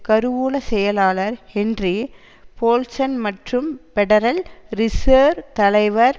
கருவூல செயலாளர் Henry Paulson மற்றும் பெடரல் ரிசேர்வ் தலைவர்